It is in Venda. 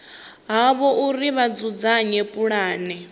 havho uri vha dzudzanye pulane